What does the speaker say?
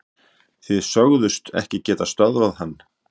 Þið sögðust ekki geta stöðvað hann